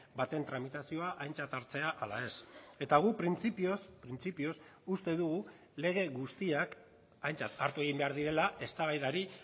baten tramitazioa aintzat hartzea ala ez eta guk printzipioz printzipioz uste dugu lege guztiak aintzat hartu egin behar direla eztabaidari